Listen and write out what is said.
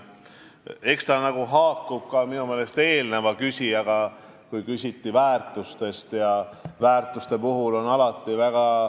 Eks ta nagu haakub ka eelmise küsimusega väärtuste kohta.